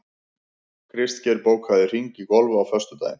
Kristgeir, bókaðu hring í golf á föstudaginn.